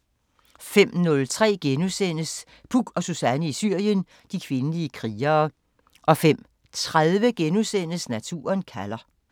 05:03: Puk og Suzanne i Syrien: De kvindelige krigere * 05:30: Naturen kalder *